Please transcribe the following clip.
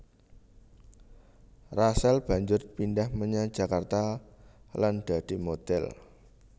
Rachel banjur pindhah menyang Jakarta lan dadi modhèl